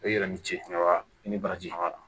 I yɛrɛ ni ce aw ni baraji b'a la